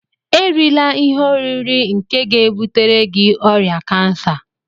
Erila ihe oriri nke ga-ebutere gị ọrịa kansa